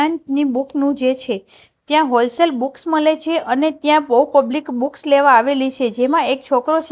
અં ની બુક નું જે છે ત્યાં હોલસેલ બૂક્સ મલે છે અને ત્યાં બોવ પબ્લિક બૂક્સ લેવા આવેલી છે જેમાં એક છોકરો છે.